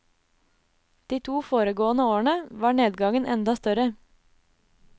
De to foregående årene var nedgangen enda større.